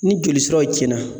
Ni joli siraw cɛnna